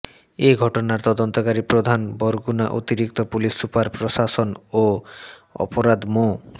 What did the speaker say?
এ ঘটনার তদন্তকারী প্রধান বরগুনা অতিরিক্ত পুলিশ সুপার প্রশাসন ও অপরাধ মো